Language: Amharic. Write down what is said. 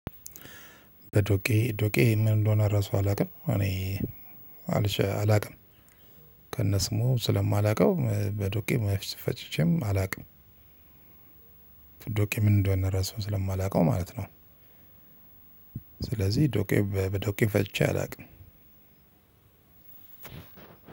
በዶቄ ዶቄ ምን እንደሆነ ራሱ አላውቅም እኔ አላውቅም ከነስሙ ስለማላውቀው በዱቄ አስፈጭቼም አላቅም። ዶቄ ምን እንደሆነ ራሱ ስለማላውቀው ማለት ነው። ስለዚህ ዶቄ በዶቄ ፈጭቼ አላውቅም።